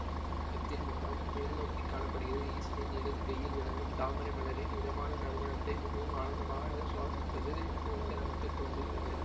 நாகத்தின் முகம் மேல்நோக்கிக் காண படுகிறது ஈசனின் இடது கையில் விளங்கும் தாமரை மலரின் இதமான நறுமணத்தை மிகவும் ஆனந்தமாக சுவாசிப்பது போல நமக்கு தோன்றுகிறது